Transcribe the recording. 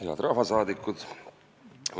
Head rahvasaadikud!